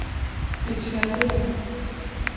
Betina Bruun